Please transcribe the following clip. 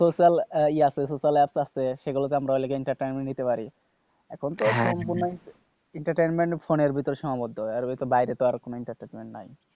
আরো social social app আছে সেগুলোতে আমরা time দিতে পারি, এখনতো entertainment সম্পূর্ণ ফোনের মধ্যে সীমাবদ্ধ, বাইরে তো আর কোনো entertainment নাই,